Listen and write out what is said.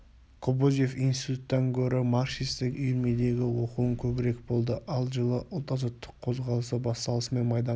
кобозев институттан гөрі марксистік үйірмедегі оқуым көбірек болды ал жылы ұлт-азаттық қозғалысы басталысымен майданға